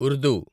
Urdu